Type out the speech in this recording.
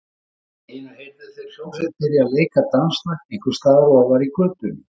Allt í einu heyrðu þeir hljómsveit byrja að leika danslag einhvers staðar ofar í götunni.